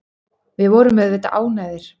Við vorum auðvitað ánægðir.